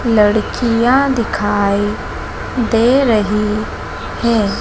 लड़कियां दिखाई दे रही हैं।